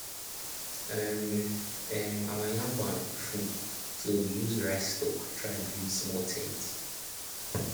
um um our yam barn full so we use rice stalk try build small ten t